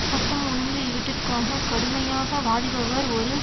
சட்டம் ஒழுங்கு இவற்றிற்காக கடுமையாக வாதிபவர் ஒரு